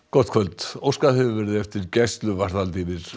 gott kvöld óskað hefur verið eftir gæsluvarðhaldi yfir